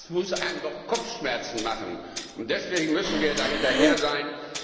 Das muss einem doch Kopfschmerzen machen. Deswegen müssen wir da hinterher sein.